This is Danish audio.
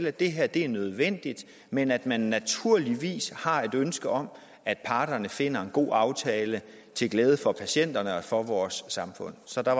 at det her er nødvendigt men at man naturligvis har et ønske om at parterne finder en god aftale til glæde for patienterne og for vores samfund så der